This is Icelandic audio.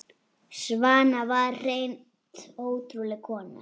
Svana var hreint ótrúleg kona.